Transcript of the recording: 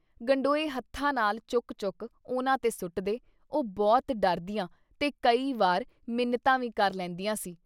ਗਡੋਏ ਹੱਥਾਂ ਨਾਲ ਚੁੱਕ ਚੁੱਕ ਉਨ੍ਹਾਂ ਤੇ ਸੁੱਟਦੇ - ਉਹ ਬਹੁਤ ਡਰਦੀਆਂ ਤੇ ਕਈ ਵਾਰ ਮਿੰਨਤਾਂ ਵੀ ਕਰ ਲੈਂਦੀਆਂ ਸੀ।